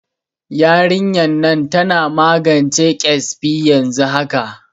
Yarinyan nan tana magance ƙesbi yanzu haka